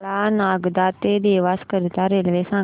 मला नागदा ते देवास करीता रेल्वे सांगा